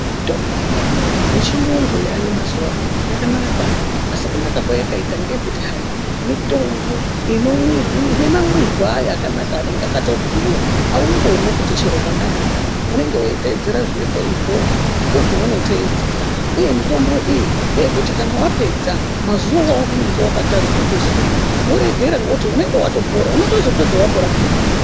Mitombo yedu yechiyungu yayo mazuva ano yakanaka. Asi kunaka kwayakaita ngeye kuti hai, mitombo ine mamwirwe ayo akanaka anenge akatobhuiva haungomwi kuti chero pandamwira unenge uitedzera zviripo izvozvozvo ndozvaunotedzera, uye mitombo iyi ngeyekuti kana vapedza mazuva aunenge vakatarirwa kuzi umwe voregera nekuti unonga vatopora nekuti unotozo pedzavapora peyani